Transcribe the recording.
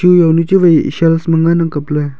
chu jaunu chuwai shelf ma ngan ang kap ley.